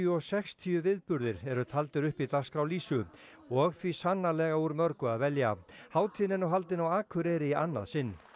og sextíu viðburðir eru taldir upp í dagskrá lýsu og því sannarlega úr mörgu að velja hátíðin er nú haldin á Akureyri í annað sinn